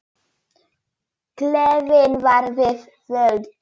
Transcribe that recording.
Gleðin var við völd.